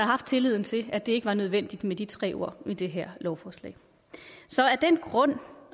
haft tilliden til at det ikke var nødvendigt med de tre ord i det her lovforslag så af den grund